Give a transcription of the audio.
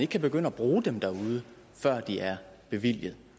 kan begynde at bruge dem derude før de er bevilget